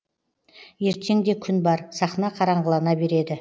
ертең де күн бар сахна қараңғылана береді